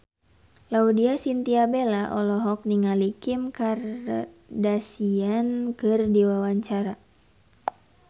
Laudya Chintya Bella olohok ningali Kim Kardashian keur diwawancara